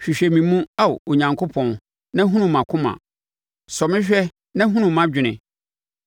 Hwehwɛ me mu, Ao Onyankopɔn, na hunu mʼakoma; sɔ me hwɛ na hunu mʼadwene.